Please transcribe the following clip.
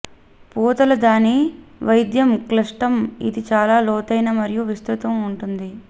పూతల దాని వైద్యం క్లిష్టం ఇది చాలా లోతైన మరియు విస్తృత ఉంటుంది